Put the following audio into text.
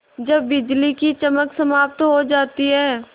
जब बिजली की चमक समाप्त हो जाती है